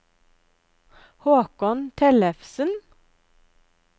Håkon Tellefsen